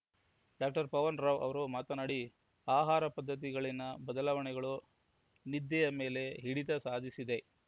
doctor Pavan Rao ಅವರು ಮಾತನಾಡಿ ಆಹಾರ ಪದ್ಧತಿಗಳಲ್ಲಿನ ಬದಲಾವಣೆಗಳು ನಿದ್ದೆಯ ಮೇಲೆ ಹಿಡಿತ ಸಾಧಿಸಿದೆ